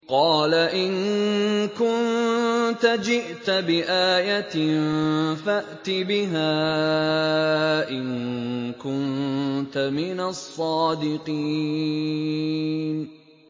قَالَ إِن كُنتَ جِئْتَ بِآيَةٍ فَأْتِ بِهَا إِن كُنتَ مِنَ الصَّادِقِينَ